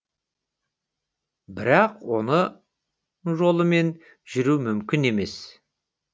бірақ оның жолымен жүру мүмкін емес